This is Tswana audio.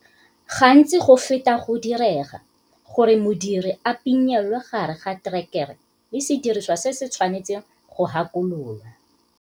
Gantsi go feta go direga gore modiri a pinelwe gare ga terekere le sediriswa se se tshwanetsweng go hakololwa.